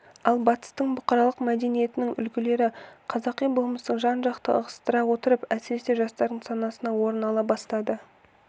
ал батыстың бұқаралық мәдениетінің үлгілері қазақы болмысты жан-жақты ығыстыра отырып әсіресе жастардың санасынан орын ала бастады